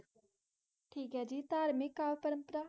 ਠੀਕ ਏ ਜੀ ਧਾਰਮਿਕ ਕਾਲ ਪ੍ਰੰਪਰਾ?